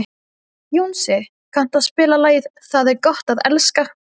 Jónsi, kanntu að spila lagið „Tað er gott at elska“?